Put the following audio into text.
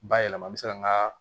Bayɛlɛman bɛ se ka nga